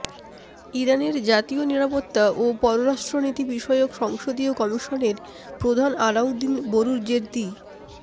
ইরানের জাতীয় নিরাপত্তা ও পররাষ্ট্রনীতি বিষয়ক সংসদীয় কমিশনের প্রধান আলাউদ্দিন বোরুজের্দি